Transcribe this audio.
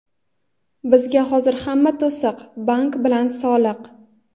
Bizga hozir hamma to‘siq — bank bilan soliq.